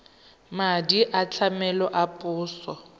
madi a tlamelo a puso